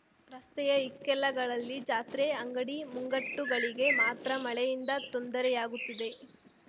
ರಸ್ತೆಯ ಇಕ್ಕೆಲಗಳಲ್ಲಿ ಜಾತ್ರೆ ಅಂಗಡಿ ಮುಂಗಟ್ಟುಗಳಿಗೆ ಮಾತ್ರ ಮಳೆಯಿಂದ ತೊಂದರೆಯಾಗುತ್ತಿದೆ